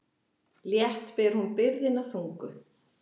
Létt ber hún byrðina þungu.